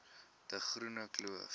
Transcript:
de groene kloof